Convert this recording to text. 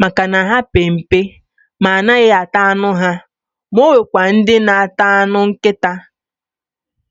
maka na ha pe mpe ma anaghị ata anụ ha, ma ọ nwekwa ndị na ata anụ nkịta, akụ a mụ mgbọsị mụ nụrụ ya